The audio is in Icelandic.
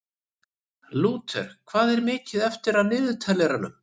Lúter, hvað er mikið eftir af niðurteljaranum?